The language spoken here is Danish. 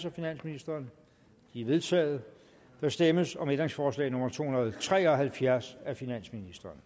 af finansministeren de er vedtaget der stemmes om ændringsforslag nummer to hundrede og tre og halvfjerds af finansministeren